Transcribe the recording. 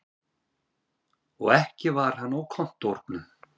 Og ekki var hann á kontórnum.